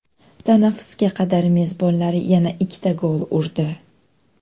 Tanaffusga qadar mezbonlar yana ikkita gol urdi.